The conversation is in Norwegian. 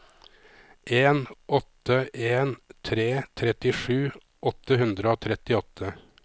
en åtte en tre trettisju åtte hundre og trettiåtte